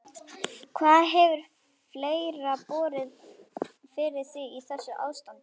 Hvað hefur fleira borið fyrir þig í þessu ástandi?